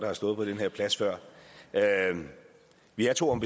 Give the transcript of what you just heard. har stået på den her plads før vi er to om